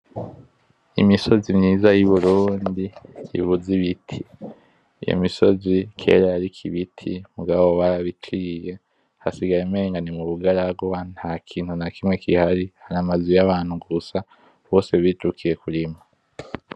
Imisozi myiza y’Iburundi ibuze ibiti. Iyo misozi kera yariko ibiti mugabo barabiciye hasigaye umengo ni mu bugaragwa Nta kintu na kimwe gihari hari amazu y’abantu gusa, bose bijukiye kurima.